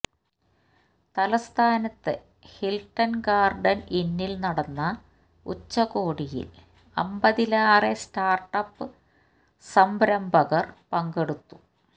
തലസ്ഥാനത്തെ Hilton Garden ഇന്നിൽ നടന്ന ഉച്ചകോടിയിൽ അമ്പതിലേറെ സ്റ്റാർട്ടപ്പ് സംരംഭകർ പങ്കെടുത്തു